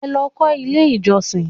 Ẹ lọ kọ́ ilé ìjọsìn!